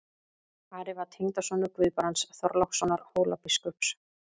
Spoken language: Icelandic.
Ari var tengdasonur Guðbrands Þorlákssonar Hólabiskups.